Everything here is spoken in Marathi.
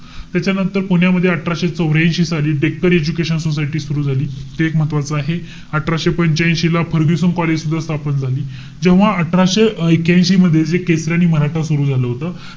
त्याच्यानंतर पुण्यामध्ये अठराशे चौर्यांशी साली डेक्कन एजुकेशन सोसायटी सुरु झाली. ते एक महत्वाचं आहे. अठराशे पंच्यांशी ला फर्ग्युसन कॉलेज सुद्धा स्थापन झाली. जेव्हा अठराशे ऐक्यांशी मध्ये जे केसरी आणि मराठा सुरु झालं होतं.